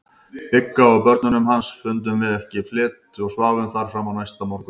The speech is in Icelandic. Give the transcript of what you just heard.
Bigga og börnunum hans, fundum okkur fleti og sváfum þar fram á næsta morgun.